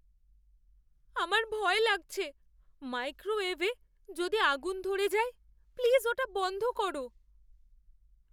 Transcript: আমার ভয় লাগছে মাইক্রোওয়েভে যদি আগুন ধরে যায়। প্লিজ ওটা বন্ধ করো।